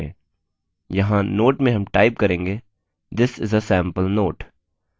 यहाँ note में हम type करेंगेthis is a sample note